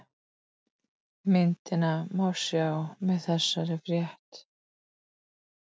Myndina má sjá með þessari frétt